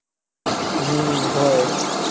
हम्म होय.